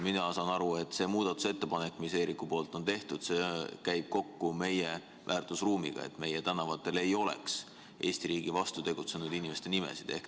Mina saan aru, et see muudatusettepanek, mis Eerikul on tehtud, käib kokku meie väärtusruumiga: et meie tänavatel ei oleks Eesti riigi vastu tegutsenud inimeste nimesid.